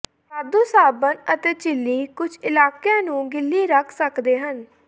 ਵਾਧੂ ਸਾਬਣ ਅਤੇ ਝਿੱਲੀ ਕੁਝ ਇਲਾਕਿਆਂ ਨੂੰ ਗਿੱਲੀ ਰੱਖ ਸਕਦੇ ਹਨ